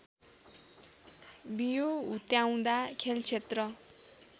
बियो हुत्याउँदा खेलक्षेत्र